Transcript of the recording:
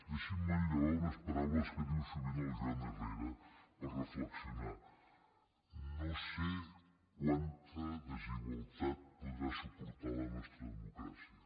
deixin me manllevar unes paraules que diu sovint el joan herrera per reflexionar no sé quanta desigualtat podrà suportar la nostra democràcia